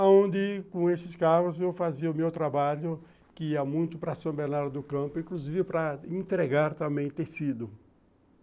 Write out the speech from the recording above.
Aonde, com esses carros, eu fazia o meu trabalho, que ia muito para São Bernardo do Campo, inclusive para entregar também tecido.